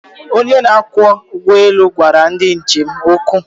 Onye na-akwọ ụgbọelu gwara ndi njem okwu.